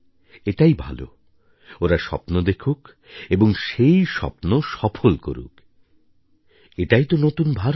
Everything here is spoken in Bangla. এটাই ভালো ওরা স্বপ্ন দেখুক এবং সেই স্বপ্ন সফল করুক এটাই তো নতুন ভারত